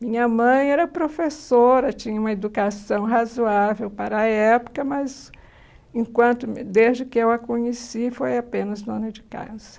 Minha mãe era professora, tinha uma educação razoável para a época, mas enquanto desde que eu a conheci foi apenas dona de casa.